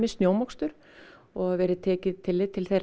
snjómokstur og verið tekið tillit til þeirra